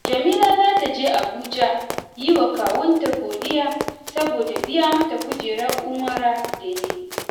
Jamila za ta je Abuja yi wa kawunta godiya saboda biya mata kujerar umara da ya yi